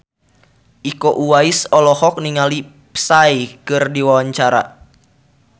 Iko Uwais olohok ningali Psy keur diwawancara